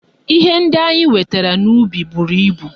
Ihe ndị anyị wetara n'ubi buru ibu